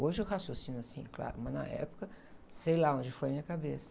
Hoje eu raciocino assim, claro, mas na época, sei lá onde foi a minha cabeça.